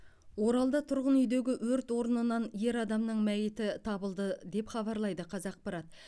оралда тұрғын үйдегі өрт орнынан ер адамның мәйіті табылды деп хабарлайды қазақпарат